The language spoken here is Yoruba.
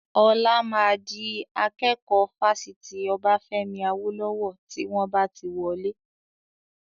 Ọlá máa di akẹ́kọ̀ọ́ Fásitì Obafemi Awolowo tí wọn bá ti wọlé.